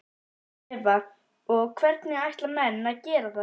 Eva: Og hvernig ætla menn að gera það?